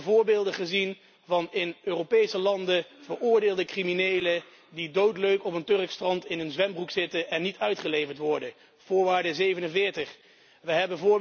We hebben voorbeelden gezien van in Europese landen veroordeelde criminelen die doodleuk op een Turks strand in hun zwembroek zitten en niet uitgeleverd worden We